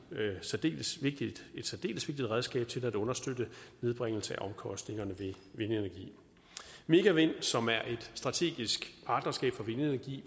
særdeles vigtigt redskab til at understøtte nedbringelse af omkostningerne ved vindenergi megavind som er et strategisk partnerskab for vindenergi